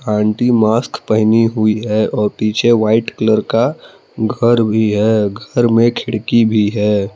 Aunty mask पहनी हुई है और पीछे वाइट कलर का घर भी है घर में खिड़की भी है।